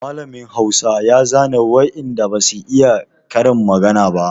Mallamin Hausa ya zane waɗan da ba su iya karin magana ba.